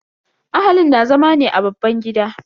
Ahalin na zama ne a babban gida.